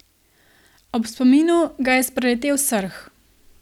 Ob spominu ga je spreletel srh.